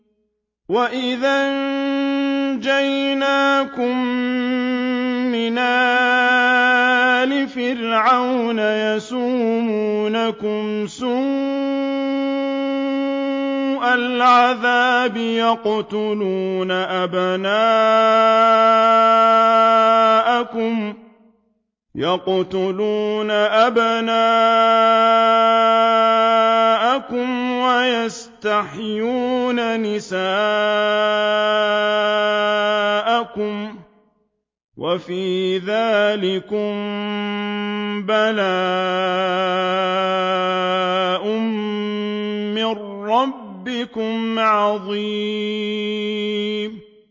وَإِذْ أَنجَيْنَاكُم مِّنْ آلِ فِرْعَوْنَ يَسُومُونَكُمْ سُوءَ الْعَذَابِ ۖ يُقَتِّلُونَ أَبْنَاءَكُمْ وَيَسْتَحْيُونَ نِسَاءَكُمْ ۚ وَفِي ذَٰلِكُم بَلَاءٌ مِّن رَّبِّكُمْ عَظِيمٌ